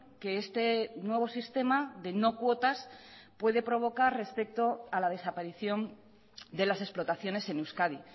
que este nuevo sistema de no cuotas puede provocar respecto a la desaparición de las explotaciones en euskadi